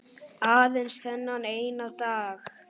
Aðeins þennan eina dag!